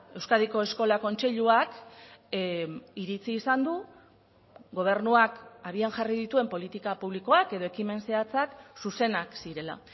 euskadiko eskola kontseiluak iritzi izan du gobernuak abian jarri dituen politika publikoak edo ekimen zehatzak zuzenak zirela